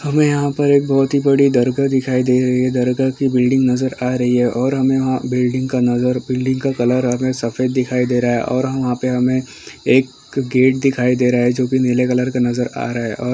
हमें यहाँ पर एक बहुत ही बड़ी दरगाह दिखाई दे रही है दरगाह की बिल्डिंग नज़र आ रही है और हमें वहाँ बिल्डिंग का नज़र बिल्डिंग का कलर हमें सफेद दिखाई दे रहा है और हाँ वहाँ पे हमें एक गेट दिखाई दे रहा है जोकि नीले कलर का नज़र आ रहा है और --